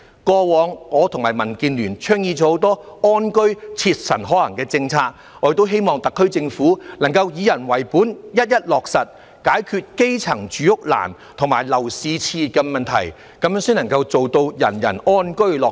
過往，我與民建聯倡議了很多安居切實可行的政策，我亦希望特區政府能夠以人為本，一一落實，解決基層住屋難及樓市熾熱的問題，才可做到人人安居樂業。